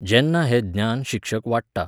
जेन्ना हें ज्ञान शिक्षक वांट्टा